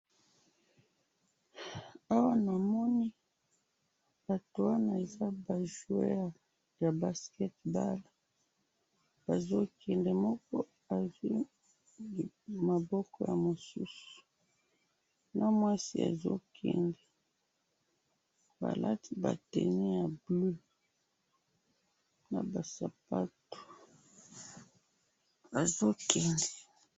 Awa namoni batu wana eza ba joueur ya basket balle bazo kende moko azwi maboko ya mosusu na mwasi azo kende balati ba tenu ya bleu naba sapato bazo kende